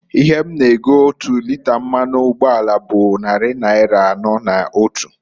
Ihe a na- ego otu lịta mmanụ ugboala bụ nnarị naịra anọọ na otu.